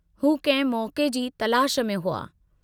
हू कहिं मौके जी तलाश में हुआ।